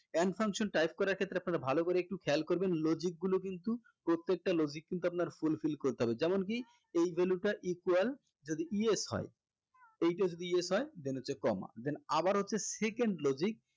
and function type করার ক্ষেত্রে আপনারা ভালো করে একটু খেয়াল করবেন logic গুলা কিন্তু প্রত্যেক টা logic কিন্তু আপনার fulfill করতে হবে যেমন কি এই value টা equal যদি yes হয় এইটা যদি yes হয় then হচ্ছে comma then আবার হচ্ছে second logic